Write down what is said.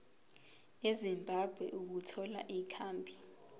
ezimbabwe ukuthola ikhambi